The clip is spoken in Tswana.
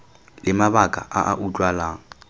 le mabaka a a utlwalang